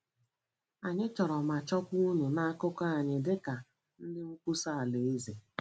Anyị chọrọ ma chọkwa unu n’akụkụ anyị dị ka ndị nkwusa Alaeze.